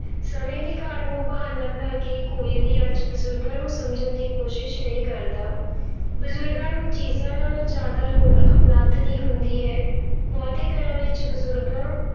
ਸਮੇਂ ਦੀ ਘਾਟ ਨੂੰ ਬਹਾਨਾ ਬਣਾ ਕੇ ਕੋਈ ਵੀ ਅੱਜ ਬਜ਼ੁਰਗਾਂ ਨੂੰ ਸਮਝਣ ਦੀ ਕੋਸ਼ਿਸ਼ ਨਹੀਂ ਕਰਦਾ ਬਜ਼ੁਰਗਾਂ ਨੂੰ ਚੀਜ਼ਾਂ ਨਾਲੋਂ ਜ਼ਿਆਦਾ ਲੋੜ ਆਪਣੱਤ ਦੀ ਹੁੰਦੀ ਹੈ, ਬਹੁਤੇ ਘਰਾਂ ਵਿੱਚ ਬਜ਼ੁਰਗਾਂ